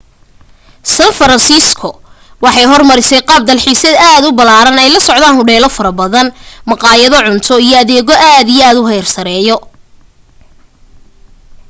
san francisco waxay hor marisay qaab dalxiis aad u balaran ay la socdaan hodheelo fara badan mqayado cunto iyo adeego aad iyo aad u xeer sareeyo